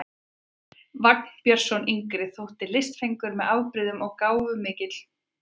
Vagn Björnsson yngri þótti listfengur með afbrigðum og gáfumaður mikill, enda kvæntist hann aldrei.